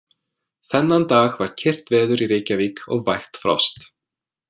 Þennan dag var kyrrt veður í Reykjavík og vægt frost.